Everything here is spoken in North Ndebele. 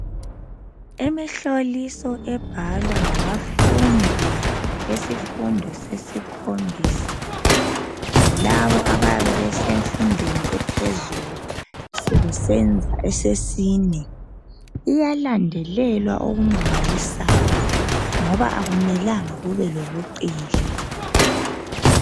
Imihloliso ebhalwa ngabafundi besifundo sesikhombisa lalabo abayabe besemfundweni ephezulu sebesenza esesine iyalandelelwa okumangalisayo ngoba akumelanga kube lobuqili